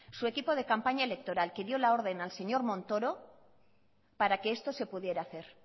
su equipo de campaña electoral que dio la orden al señor montoro para que esto se pudiera hacer